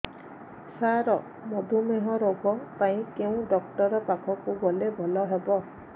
ସାର ମଧୁମେହ ରୋଗ ପାଇଁ କେଉଁ ଡକ୍ଟର ପାଖକୁ ଗଲେ ଭଲ ହେବ